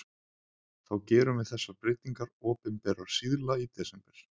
Þá gerum við þessar breytingar opinberar síðla í desember.